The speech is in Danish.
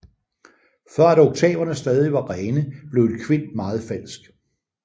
For at oktaverne stadig var rene blev en kvint meget falsk